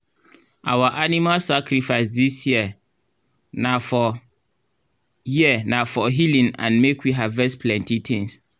our animal sacrifice this year na for year na for healing and make we harvest plenty things